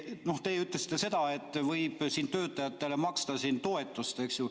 Noh, teie ütlesite seda, et võib töötajatele maksta toetust, eks ju.